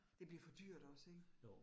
Det bliver for dyrt også ik